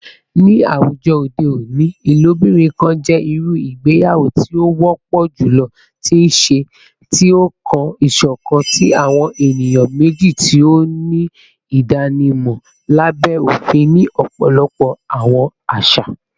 Ni awujọ ode oni, ilobirin kan jẹ iru igbeyawo ti o wọpọ julọ ti nṣe, ti o kan iṣọkan ti awọn eniyan meji ti o ni idanimọ labẹ ofin ni ọpọlọpọ awọn aṣa.